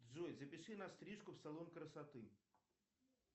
джой запиши на стрижку в салон красоты